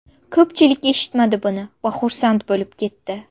Ko‘pchilik eshitmadi buni va xursand bo‘lib ketdi.